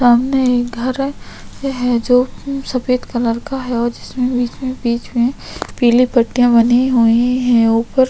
सामने एक घर है है जो सफेद कलर का है और जिसमें बीच में पीली पट्टीयाँ बनी हुई है ऊपर --